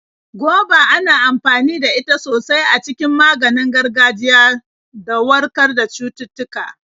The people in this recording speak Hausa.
Goba ana amfani da ita sosai a cikin maganin gargajiya do warkar da cututtuka.